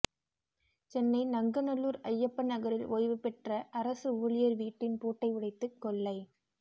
சென்னை நங்கநல்லூர் ஜயப்ப நகரில் ஓய்வு பெற்ற அரசு ஊழியர் வீட்டின் பூட்டை உடைத்து கொள்ளை